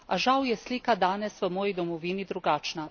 A žal je slika danes v moji domovini drugačna.